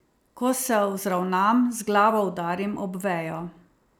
Ko se vzravnam, z glavo udarim ob vejo.